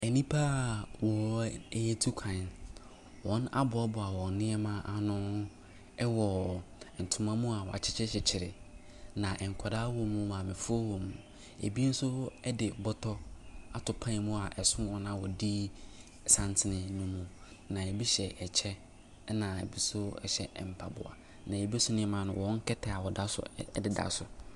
Nnipa wɔretu kwan, wɔɔaboaboa wɔn nneɛma ano wɔ ntoma mu wɔakyekyerekyekyere, na nkwadaa wɔm maamefoɔ wɔm, ɛbi nso de bɔtɔ ato pan mu a ɛso wɔn a wɔdi santene ne mu. Na ɛbi hyɛ kyɛ, na bi nso hyɛ mpaboa. Na bi nso nneɛma no, wcn kɛtɛ a wɔda so deda so.